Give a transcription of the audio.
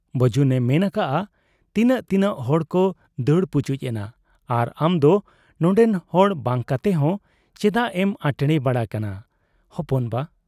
ᱵᱟᱹᱡᱩᱱᱮ ᱢᱮᱱ ᱟᱠᱟᱜ ᱟ ᱛᱤᱱᱟᱹᱜ ᱛᱤᱱᱟᱹᱜ ᱦᱚᱲᱠᱚ ᱫᱟᱹᱲ ᱯᱩᱪᱩᱡ ᱮᱱᱟ ᱟᱨ ᱟᱢᱫᱚ ᱱᱚᱱᱰᱮᱱ ᱦᱚᱲ ᱵᱟᱝ ᱠᱟᱛᱮᱦᱚᱸ ᱪᱮᱫᱟᱜ ᱮᱢ ᱟᱴᱷᱬᱮ ᱵᱟᱲᱟᱜ ᱠᱟᱱᱟ ᱦᱚᱯᱚᱱ ᱵᱟ ?